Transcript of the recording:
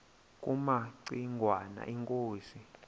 kumaci ngwana inkosi